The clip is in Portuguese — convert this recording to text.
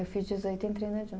Eu fiz dezoito e entrei na